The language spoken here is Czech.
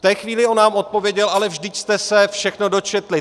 V té chvíli on nám odpověděl: ale vždyť jste se všechno dočetli!